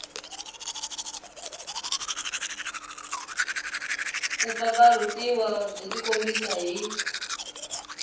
ku pfapfarhutiwa byi tikombisa hi